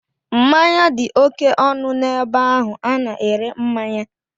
Mmanya dị oké ọnụ n'ebe ahụ a na-ere mmanya.